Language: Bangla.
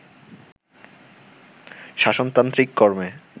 শাসনতান্ত্রিক কর্মে